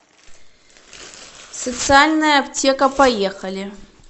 социальная аптека поехали